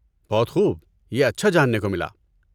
بہت خوب! یہ اچھا جاننے کو ملا۔